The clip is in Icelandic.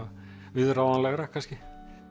viðráðanlegra kannski